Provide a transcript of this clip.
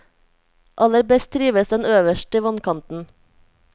Aller best trives den øverst i vannkanten.